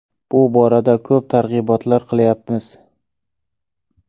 Bu borada ko‘p targ‘ibotlar qilyapmiz.